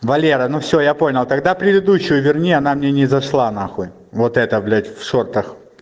валера ну всё я понял тогда предыдущую верни она мне не зашла нахуй вот эта блять в шортах